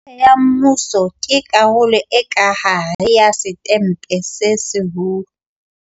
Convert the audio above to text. Betjhe ya Mmuso ke karolo e ka hare ya Setempe se Seholo.